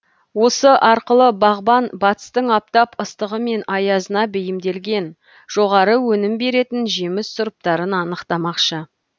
осы арқылы бағбан батыстың аптап ыстығы мен аязына бейімделген жоғары өнім беретін жеміс сұрыптарын анықтамақшы